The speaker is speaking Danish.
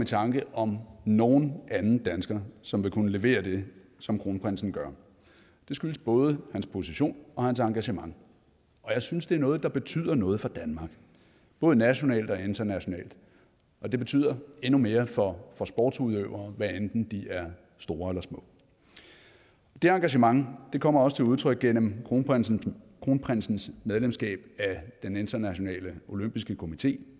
tanke om nogen anden dansker som vil kunne levere det som kronprinsen gør det skyldes både hans position og hans engagement og jeg synes det er noget der betyder noget for danmark både nationalt og internationalt og det betyder endnu mere for for sportsudøvere hvad enten de er store eller små det engagement kommer også til udtryk gennem kronprinsens kronprinsens medlemskab af den internationale olympiske komité